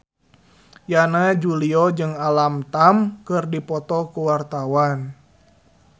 Yana Julio jeung Alam Tam keur dipoto ku wartawan